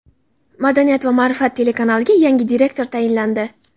"Madaniyat va ma’rifat" telekanaliga yangi direktor tayinlandi.